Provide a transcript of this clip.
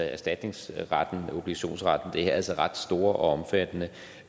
erstatningsretten og obligationsretten er altså ret store og omfattende